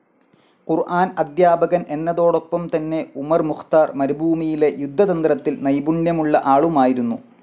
ഖുർ‌ആൻ അദ്ധ്യാപകൻ എന്നതോടൊപ്പം തന്നെ ഉമർ മുഖ്താർ മരുഭൂമിയിലെ യുദ്ധതന്ത്രത്തിൽ നൈപുണ്യമുള്ള ആളുമായിരുന്നു.